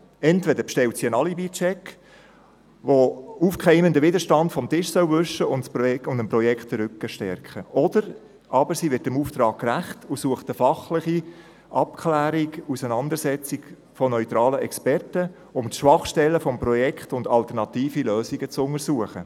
Entweder bestellt sie einen Alibi-Check, der den aufkeimenden Widerstand vom Tisch wischen und dem Projekt den Rücken stärken soll, oder sie wird dem Auftrag gerecht und sucht eine fachliche Abklärung und Auseinandersetzung mit neutralen Experten, um die Schwachstellen des Projekts sowie alternative Lösungen zu untersuchen.